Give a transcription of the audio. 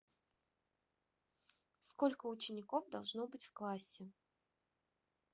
сколько учеников должно быть в классе